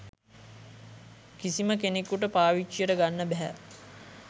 කිසිම කෙනෙකුට පාවිච්චියට ගන්න බැහැ.